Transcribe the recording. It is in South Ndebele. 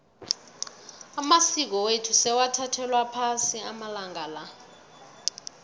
amasiko wethu sewathathelwa phasi amalanga la